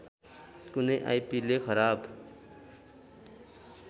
कुनै आइपिले खराब